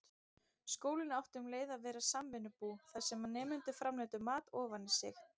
Skólinn átti um leið að vera samvinnubú, þar sem nemendur framleiddu mat ofan í sig.